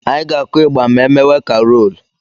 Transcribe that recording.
Anyị ga-akụ ịgbà ma emewe karoolu.